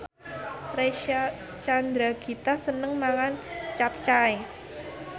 Reysa Chandragitta seneng mangan capcay